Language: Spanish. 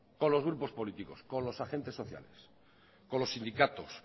con los grupos políticos con los agentes sociales con los sindicatos